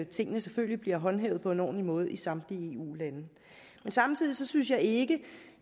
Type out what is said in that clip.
tingene selvfølgelig bliver håndhævet på en ordentlig måde i samtlige eu lande men samtidig synes jeg ikke